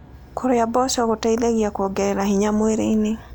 Kũrĩa mboco gũteĩthagĩa kũongerera hinya mwĩrĩĩnĩ